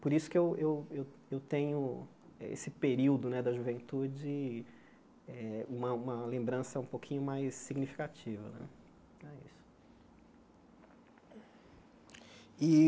Por isso que eu eu eu eu tenho esse período né da juventude, uma uma lembrança um pouquinho mais significativa né. É isso E